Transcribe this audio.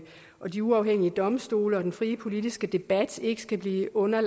og de uafhængige domstole og den frie politiske debat ikke skal ligge under